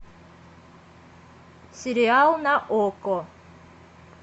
сериал на окко